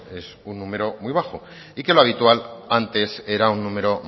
es un número muy bajo y que lo habitual antes era un número